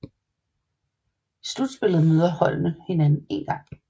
I slutspillet møder holdene hinanden én gang